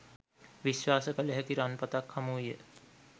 විශ්වාස කළ හැකි රන්පතක් හමු විය